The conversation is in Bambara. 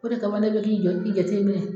O de kama ne bɛ k'i jo i jateminɛ.